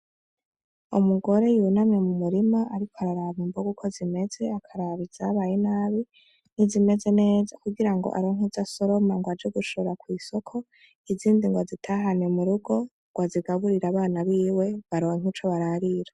Umugore yunamye mu murima ariko araraba imboga uko zimeze akaraba izabaye nabi ni zimeze neza kugirango aronke izasoroma aje gushora kw'isoko izindi bazitahane mu rugo ngw'azigaburire abana biwe baronke ico bararira.